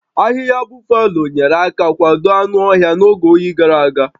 Ahịhịa Buffalo nyere aka kwado anụ ọhịa n'oge oyi gàrà aga